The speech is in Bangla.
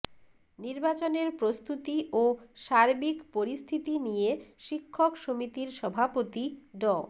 নির্বাচনের প্রস্তুতি ও সার্বিক পরিস্থিতি নিয়ে শিক্ষক সমিতির সভাপতি ড